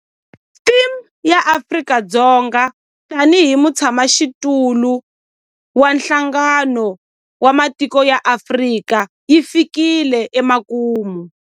Theme ya Afrika-Dzonga tanihi mutshamaxitulu wa Nhlangano wa Matiko ya Afrika yi fikile emakumu.